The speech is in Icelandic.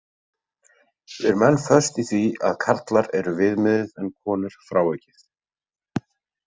Við erum enn föst í því að karlar eru viðmiðið en konur frávikið.